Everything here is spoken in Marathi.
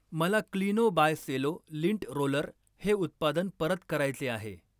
मला Kleeno by Cello lint roller हे उत्पादन परत करायचे आहे.